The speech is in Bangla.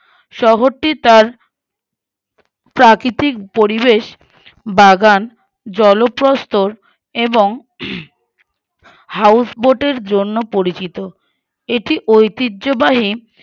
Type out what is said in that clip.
শহরটি তার প্রাকৃতিক পরিবেশ বাগান জলপ্রসত্তর এবং হম হাউসবোটের জন্য পরিচিত এটি ঐতিহ্যবাহী